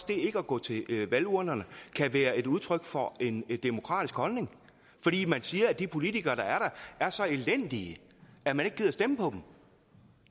det ikke at gå til valgurnerne kan være udtryk for en demokratisk holdning fordi man siger at de politikere der er der er så elendige at man ikke gider stemme på dem